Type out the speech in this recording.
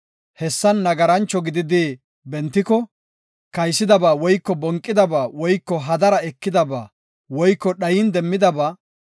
hessan nagarancho gididi bentiko, kaysidaba woyko bonqidaba woyko hadara ekidaba woyko dhayin demmidaba,